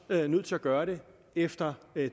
nødt til at gøre det efter